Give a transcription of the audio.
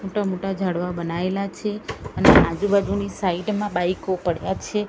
મોટા મોટા ઝાડવા બનાઇલા છે અને આજુ બાજુની સાઇડ મા બાઇકો પડ્યા છે.